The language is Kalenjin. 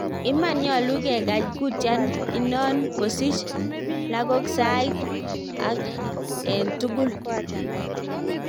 Iman, nyalu ngegach kutiat inano kosich lagoksait ang etugul.